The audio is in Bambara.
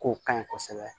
K'o ka ɲi kosɛbɛ